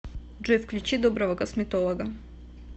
джой включи доброго косметолога